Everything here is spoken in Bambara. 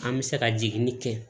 An bɛ se ka jiginni kɛ